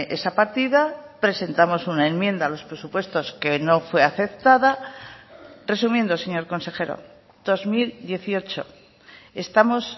esa partida presentamos una enmienda a los presupuestos que no fue aceptada resumiendo señor consejero dos mil dieciocho estamos